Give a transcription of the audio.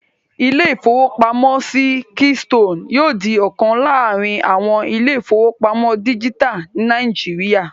Ilé-ìfowópamọ́sí Keystone yóò di ọ̀kan láàrin àwọn ilé-ìfowópamọ́sí dígítà ní Nàìjíríyà